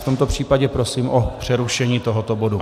V tomto případě prosím o přerušení tohoto bodu.